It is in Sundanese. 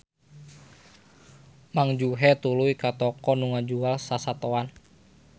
Mang Juhe tuluy ka toko nu ngajual sasatoan.